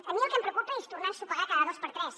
a mi el que em preocupa és tornar a ensopegar cada dos per tres